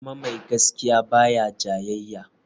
Kuma mai gaskiya ba ya jayayya.